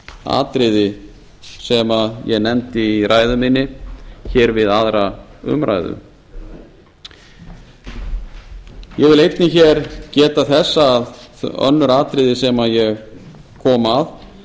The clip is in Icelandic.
atriði sem ég nefndi í ræðu minni hér við aðra umræðu ég vil einnig hér geta þess að önnur atriði sem ég kom að